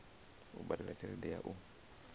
u badela tshelede ya u